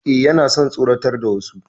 E, yana son tsoratar da wasu.